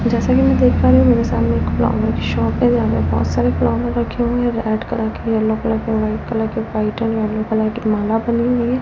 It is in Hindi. जैसा कि मैं देख पा रही हूं मेरे सामने एक फ्लावर शॉप है यहां पे बहुत सारे फ्लावर रखे हुए हैं रेड कलर के येलो कलर के वाइट कलर के वाइट एंड येलो कलर के माला बनी हुईं है।